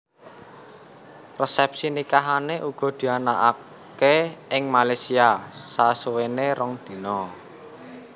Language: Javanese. Resepsi nikahane uga dianakake ing Malaysia sasuwene rong dina